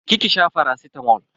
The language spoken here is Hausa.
Je ki ki sha faracitamol.